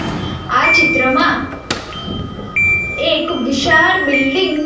આ ચિત્રમાં એક વિશાળ બિલ્ડીંગ --